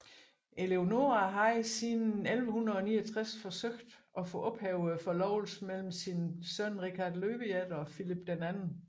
Eleonora havde siden 1169 forsøgt at få ophævet forlovelsen mellem hendes søn Richard Løvehjerte og Filip 2